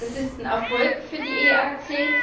Das ist ein Erfolg für die EAC.